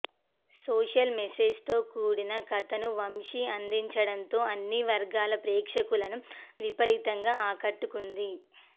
social message తో కూడిన కథను వంశీ అందించడం తో అన్ని వర్గాల ప్రేక్షకులను విపరీతంగా ఆకట్టుకుంది